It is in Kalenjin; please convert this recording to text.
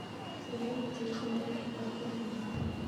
Kasarwek che ite pokol ko che naatin